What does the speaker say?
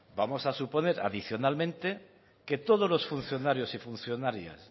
vamos a suponer adicionalmente que todos los funcionarios y funcionarias